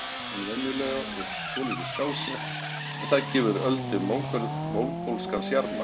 Augun minni en venjulega og svolítið skásett, en það gefur Öldu mongólskan sjarma.